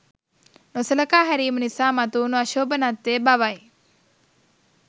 නොසලකා හැරීම නිසා මතුවුණු අශෝභනත්වය බවයි